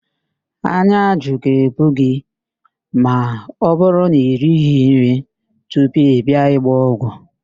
Ányá ajụ ga-ebu gị ma ọbụrụ na irighi nri tupu ị bịa ịgba ọgwụ